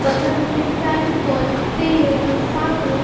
बगल में फैविकॉल तेल साबुन--